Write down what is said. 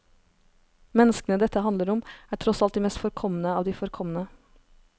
Menneskene dette handler om, er tross alt de mest forkomne av de forkomne.